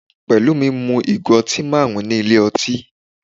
Pelumi mu ìgò ọtí marun ní ilé ọtí.